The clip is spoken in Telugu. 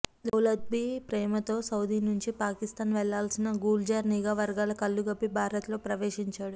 దౌలత్బీ ప్రేమతో సౌదీ నుంచి పాకిస్థాన్ వెళ్లాల్సిన గుల్జార్ నిఘా వర్గాల కళ్లు గప్పి భారత్లో ప్రవేశించాడు